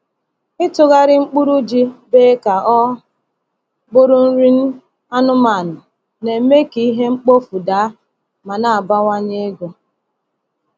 Ịtụgharị mkpụrụ ji bee ka ọ bụrụ nri anụmanụ na-eme ka ihe mkpofu daa ma na-abawanye ego.